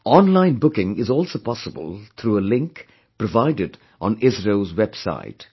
Online booking is also possible through a link provided on ISRO's website